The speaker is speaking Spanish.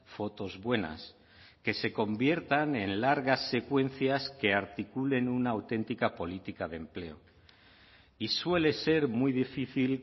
fotos buenas que se conviertan en largas secuencias que articulen una auténtica política de empleo y suele ser muy difícil